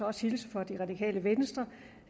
også hilse fra det radikale venstre